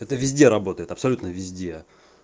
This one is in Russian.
это везде работает абсолютно везде